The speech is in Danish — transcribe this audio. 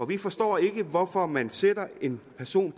vi forstår ikke hvorfor man sætter en person